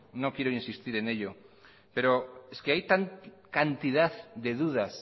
no quiero insistir en ello pero es que hay tanta cantidad de dudas